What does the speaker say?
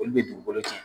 Olu bɛ dugukolo cɛn